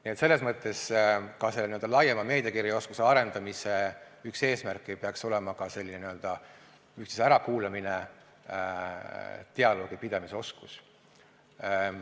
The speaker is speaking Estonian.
Nii et selles mõttes peaks laiema meediakirjaoskuse arendamise üks eesmärke olema ka üksteise ärakuulamine, dialoogipidamise oskus.